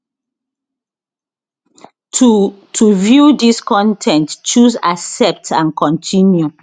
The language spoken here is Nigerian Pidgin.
to to view dis con ten t choose accept and continue